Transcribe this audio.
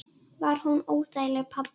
Var hún óþæg, pabbi?